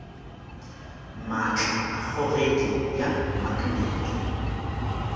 maatla a kgogedi bja maknete